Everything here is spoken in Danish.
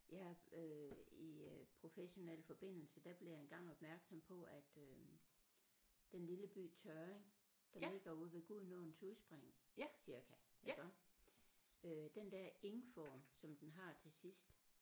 Jeg øh i øh professionel forbindelse der blev jeg engang opmærksom på at øh den lille by Tørring der ligger ude ved Gudenåens udspring cirka iggå øh den der ing-form som den har til sidst